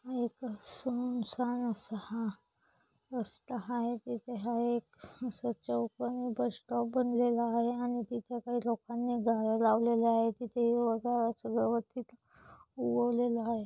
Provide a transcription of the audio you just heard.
एक सुनसान असा हा रस्ता आहे तिथे हाये एक आस चौकण बस स्टॉप बनलेला आहे आणि तिथे काही लोकांही झाडे लावलेली आहेत तिथे हिरव गार आस गवत आस गवलेल आहे.